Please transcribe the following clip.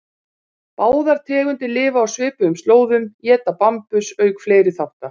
Báðar tegundir lifa á svipuðum slóðum, éta bambus auk fleiri þátta.